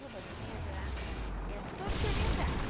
E o banheiro lá era todo incrementado.